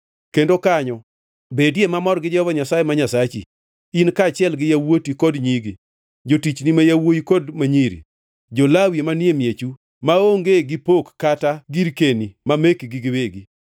Kendo kanyo bedie mamor gi Jehova Nyasaye ma Nyasachi, in kaachiel gi yawuoti kod nyigi, jotichni ma yawuowi kod ma nyiri, jo-Lawi manie miechu, maonge gi pok kata girkeni ma mekgi giwegi.